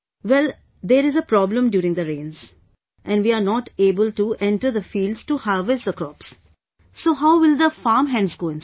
well, there is a problem during the rains and we are not able to enter the fields to harvest the crops, so how will the farmhands go inside